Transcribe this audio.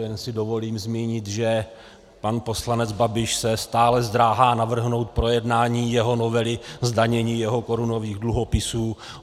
Jen si dovolím zmínit, že pan poslanec Babiš se stále zdráhá navrhnout projednání jeho novely zdanění jeho korunových dluhopisů.